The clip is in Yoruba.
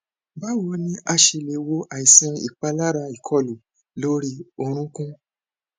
báwo ni a ṣe lè wo àìsàn ipalara ikọlu lori orunkun